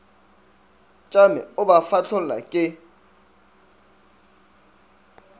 tšame o ba fahlolla ke